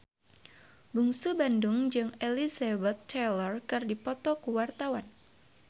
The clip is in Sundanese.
Bungsu Bandung jeung Elizabeth Taylor keur dipoto ku wartawan